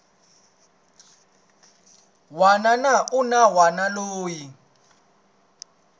wana na un wana loyi